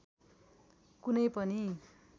कुनै पनि